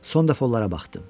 Son dəfə onlara baxdım.